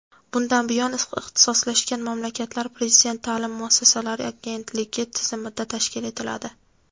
bundan buyon ixtisoslashgan maktablar Prezident ta’lim muassasalari agentligi tizimida tashkil etiladi.